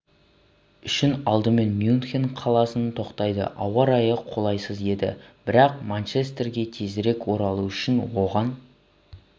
үшін алдымен мюнхен қаласына тоқтайды ауа райы қолайсыз еді бірақ манчестерге тезірек оралу үшін оған